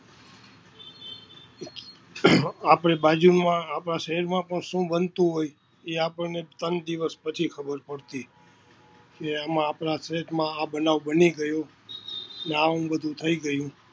આપણી બાજુમાં, આપણા શેરમાં પણ શું બનતું હોય છે ઈ આપણને તન દિવસ પછી ખબર પડતી. એમાં આપણા દેશમાં આ બનાવ બની ગયો ને આવુ વધું થઈ ગયું.